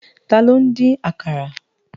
Tàló n din ákàrá?